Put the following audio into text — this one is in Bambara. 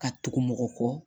Ka tugu mɔgɔ kɔ